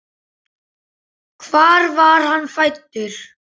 Hvar var hann fæddur?